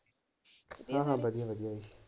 ਨਾ ਨਾ ਵਧੀਆ ਵਧੀਆ।